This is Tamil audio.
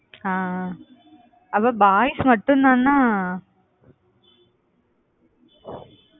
ஆஹ் ஆஹ் அப்ப boys மட்டும்தானா?